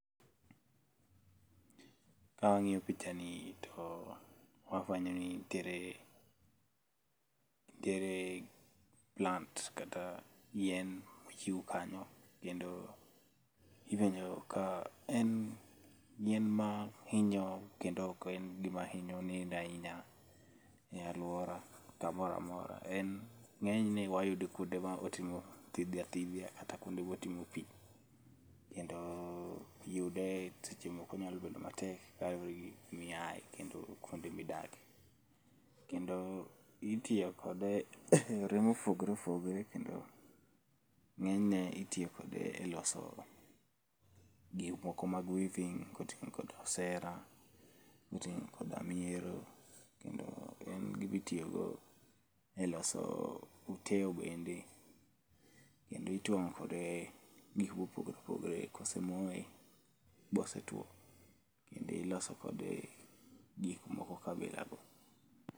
Ka wangiyo pichani to wafwenyo ni nitiere, nitiere plants kata yien mochiw kanyo kendo ifuenyo ka en yien ma hinyo, kendo oken gima hinyo neno ahinya e aluora kamoro amora. En ngenyne wayude kuonde motimo thidhia thidhia kata kuonde motingo pii kendo yude seche moko nyalo bedo matek kaluore gi kuma iyae kendo kuonde midake, kendo itiyo kode e yore ma opogore opogore kendo ngenyne itiyo kode e loso gik moko mag weaving kotingo koda osera, kotingo koda miero, kendo en gima itiyo go e loso uteo bende kendo ituomo kode gikma opogore opogo ka osemoye ma osetuo kendo iloso kode gik moko kabila go